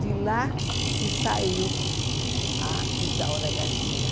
De lá que saiu a Isaura Garcia.